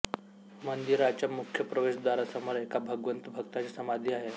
मंदिराच्या मुख्य प्रवेशद्वारासमोर एका भगवंत भक्ताची समाधी आहे